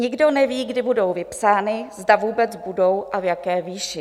Nikdo neví, kdy budou vypsány, zda vůbec budou a v jaké výši.